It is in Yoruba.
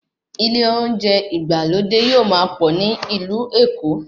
Ilé olóúnjẹ ìgbàlódé yóò máa pọ̀ ní ìlú Èkó